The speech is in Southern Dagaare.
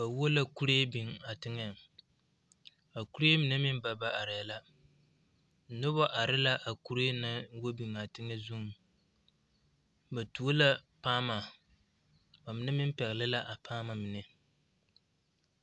Ba wo la kuree biŋ a teŋɛŋ a kuree mine meŋ ba ba arɛɛ la noba are la a kuree na naŋ wo biŋ a teŋɛ zuŋ ba tuo la paama ba mine meŋ pɛgle la a paama mine.